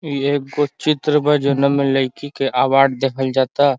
ये कुछ चित्र बा जौना में लइकी के अवार्ड देहल जाता।